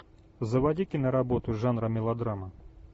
заводи киноработу жанра мелодрама